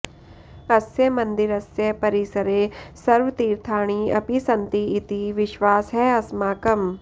अस्य मन्दिरस्य परिसरे सर्वतीर्थाणि अपि सन्ति इति विश्वासः अस्माकम्